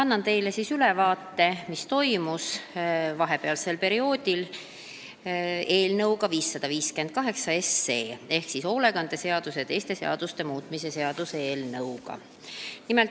Annan teile ülevaate, mis on vahepealsel perioodil toimunud eelnõuga 558 ehk sotsiaalhoolekande seaduse ja teiste seaduste muutmise seaduse eelnõuga.